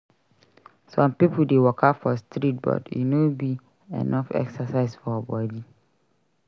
Some pipo dey waka for street but e no be enough exercise for body.